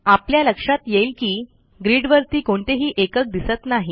आपल्या लक्षात येईल की ग्रीडवरती कोणतेही एकक दिसत नाही